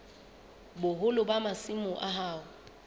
boholo ba masimo a hao